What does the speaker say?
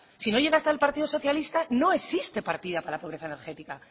si no llega estar el partido socialista no existe partida para la pobreza energética